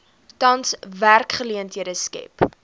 tans werksgeleenthede skep